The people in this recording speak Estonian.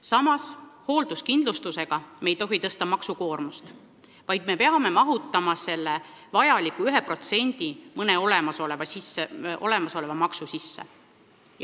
Samas, hoolduskindlustusega ei tohi me suurendada maksukoormust, vaid me peame mahutama selle vajaliku 1% mõne olemasoleva maksu sisse.